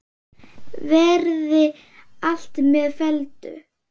Verði allt með felldu.